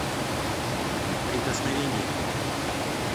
прикосновение